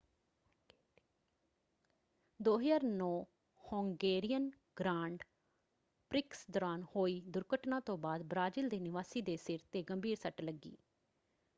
2009 Hungarian grand prix ਦੌਰਾਨ ਹੋਈ ਦੁਰਘਟਨਾ ਤੋਂ ਬਾਅਦ ਬ੍ਰਾਜ਼ੀਲ ਦੇ ਨਿਵਾਸੀ ਦੇ ਸਿਰ 'ਤੇ ਗੰਭੀਰ ਸੱਟ ਲੱਗੀ।